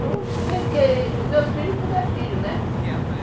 Não, porque meus filhos todos são filhos, né?